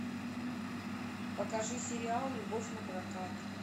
покажи сериал любовь напрокат